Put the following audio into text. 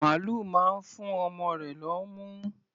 Màlúù máa ń fú ọmọ rẹ̀ lọ́mú.